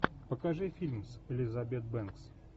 покажи фильм с элизабет бэнкс